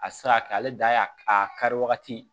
A tɛ se ka kɛ ale dan ye a kari wagati